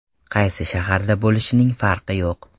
Qaysi shaharda bo‘lishning farqi yo‘q.